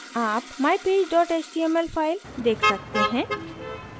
आप mypage html file देख सकते हैं